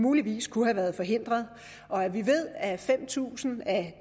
muligvis kunne have været forhindret og vi ved at fem tusind af